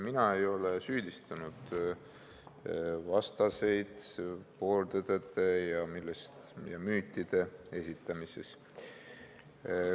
Mina ei ole süüdistanud eelnõu vastaseid pooltõdede või müütide esitamises.